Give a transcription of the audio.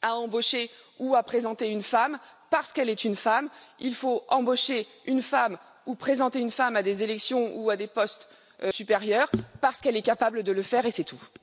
à embaucher ou à présenter une femme parce qu'elle est une femme, il faut embaucher une femme ou présenter une femme à des élections ou à des postes supérieurs parce qu'elle est capable de le faire et c'est tout.